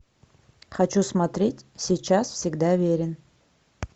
хочу смотреть сейчас всегда верен